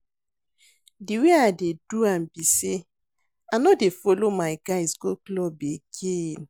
The way I dey do am be say I no dey follow my guys go club again